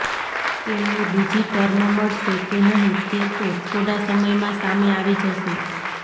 તેમને બીજી ટર્મ મળશે કે નહીં તે તો થોડા સમયમાં સામે આવી જશે